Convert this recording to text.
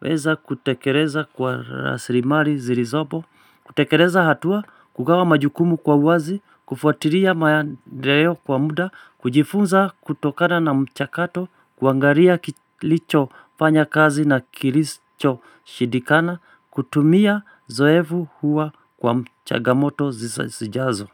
weza kutekeleza kwa rasilimali zilizopo. Kutekeleza hatua, kugawa majukumu kwa uwazi. Kufuatilia maendeleo kwa muda. Kujifunza kutokana na mchakato. Kuangalia kilichofanya kazi na kilichoshindikana. Kutumia uzoefu huo kwa chagamoto zijazo.